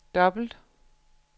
dobbelt